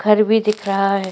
घर भी दिख रहा है।